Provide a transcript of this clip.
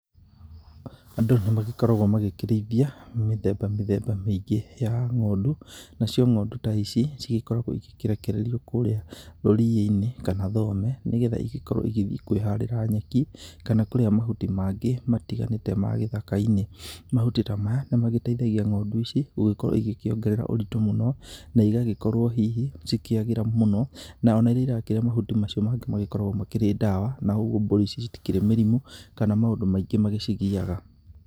Andũ nĩmagĩkoragwo makĩrĩithia mĩthemba mĩthemba mĩingĩ ya ng'ondu, nacio ng'ondu ta ici, nĩcigĩkorgwo cikĩrekererio kũrĩa rũrĩ-inĩ kana thome nĩgetha igĩkorwo igĩthiĩ kwĩ harĩra nyeki kana kũrĩa mahuti mangĩ matiganĩte magĩthaka-inĩ, mahuti ta maya nĩmateithagĩa ng'ondũ ici gũgĩkorwo ikĩongerera ũritũ mũno na ĩgagĩkorwo hihi cikĩagĩra mũno na o na rĩrĩa irakĩrĩa mahuti macio mangĩ magĩkoragwo marĩ ndawa na ũguo mbũri icio citikĩrĩ mĩrimũ kana maũndũ maingĩ magĩcigiyaga.